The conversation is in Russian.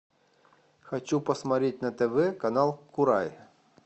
хочу посмотреть на тв канал курай